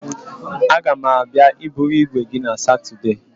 A ga m abịa iburu igwe gị na Satudee.